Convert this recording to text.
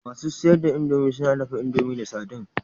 Masu siyar da indomie suna dafa indomie da sardine